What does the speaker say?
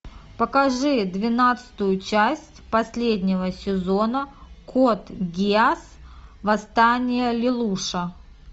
покажи двенадцатую часть последнего сезона код гиас восстание лелуша